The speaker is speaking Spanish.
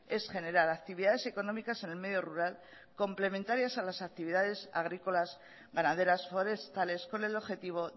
es generar actividades económicas en el medio rural complementarias a las actividades agrícolas ganaderas forestales con el objetivo